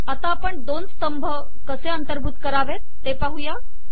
आता आपण दोन स्तंभ कसे अंतर्भूत करावे ते पाहू